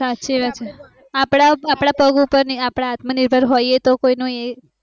સાચી વાત છે અપડા પગ ઉપર ની અપડે આત્મનિર્ભર હોઈએ તો કોઈનો અ